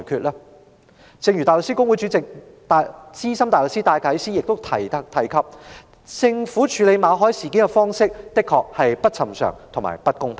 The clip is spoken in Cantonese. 香港大律師公會主席兼資深大律師戴啟思亦指出，政府處理馬凱事件的方式確實不尋常和不公平。